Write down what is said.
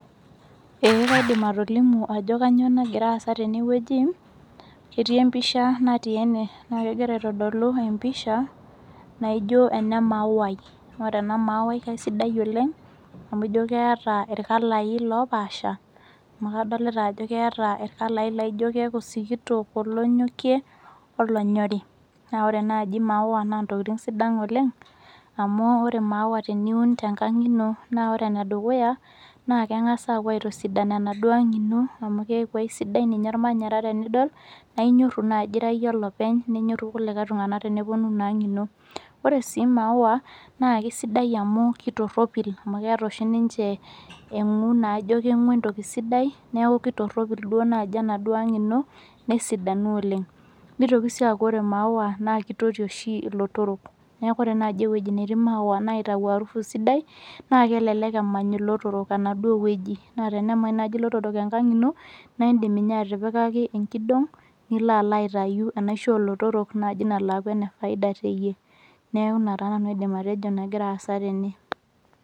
Eh kaidim atolimu ajo kanyio nagira aasa tenewueji ketii empisha natii ene naa kegira aitodolu empisha naijio ene mauai ore ena mauai kaisidai oleng amu ijio keeta irkalai lopaasha amu kadolta ajo keeeta irkalai laijio keeku sikitok olonyokie olonyori naa ore naaji imaua naa ntokiting sidan oleng amu ore imaua naantokiting sidan oleng amu ore imaua teniun enkang ino naa ore nedukuya naa keng'as apuo aitosidan enaduo ang ino amu keeku aisidai ninye ormanyara tenidol naa inyorru naaji ira iyie olopeny nenyorru kulikae tung'anak teneponu inang ino ore sii imaua naa kisidai amu kitopirropil amu keeta oshi ninche eng'u naijo keng'u entoki sidai niaku kitorropil dua naaji enaduo ang ino nesidanu oleng nitoki sii aaku ore imaua naa kitoti oshi ilotorok neku ore naaji ewueji natii imaua naitau arufu sidai naa kelelek emany ilotorok enaduo wueji naa tenemany naaji ilotorok enkang ino naindim ninye atipikaki enkidong nilo alo aitai enaisho olotorok naaji nalo aaku ene faida teyie neku ina taa nanu aidim atejo nagira aasa tene.